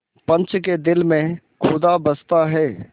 पंच के दिल में खुदा बसता है